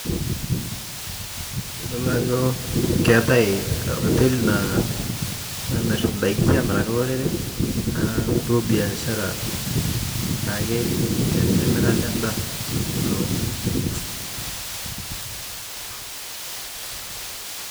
Iyilo ajo keeta oteli namir indaikin amiraki olorere aataduo biashara taa ake emirata endaa